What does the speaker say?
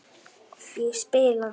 Ég spila!